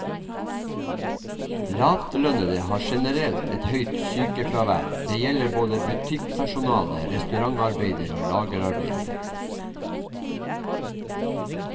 Lavtlønnede har generelt et høyt sykenærvær, det gjelder både butikkpersonale, restaurantarbeidere og lagerarbeidere.